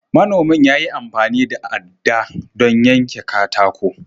Manomin ya yi amfani da aɗɗa don yanke katako.